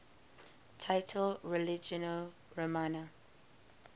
title religio romana